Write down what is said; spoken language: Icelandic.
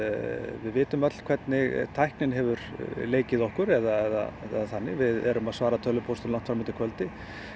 við vitum öll hvernig tæknin hefur leikið okkur eða þannig við erum að svara tölvupóstum langt fram eftir kvöldi